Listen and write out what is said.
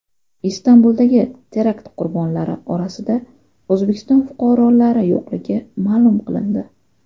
Istanbuldagi terakt qurbonlari orasida O‘zbekiston fuqarolari yo‘qligi ma’lum qilindi.